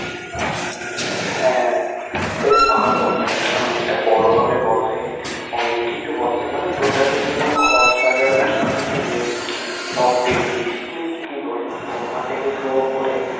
হ্যা, বেশ ভালো মেলা তা অনেক তা বড় ভাবে বসে অনেক কিছু বসে মানে totally তোমার ঘর সাজানো যা কিছু জিনিস, সব কিছু, মানে কি বলবো Sofa থেকে শুরু করে